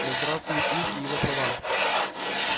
да здравствует юг и его права